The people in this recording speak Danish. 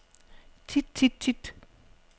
tit tit tit